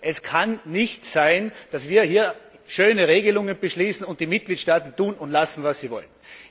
Es kann nicht sein, dass wir hier schöne Regelungen beschließen, und die Mitgliedstaaten tun und lassen, was sie wollen.